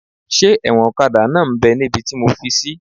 Ṣé ẹ̀wọ̀n ọ̀kadà náà m bẹ́ níbi tí mo fi sí?